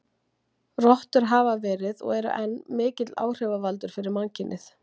Rottur hafa verið, og eru enn, mikill áhrifavaldur fyrir mannkynið.